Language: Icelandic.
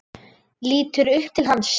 Lítur upp til hans.